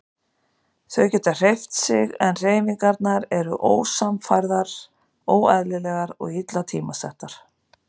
Þau geta hreyft sig en hreyfingarnar eru ósamhæfðar, óeðlilegar og illa tímasettar.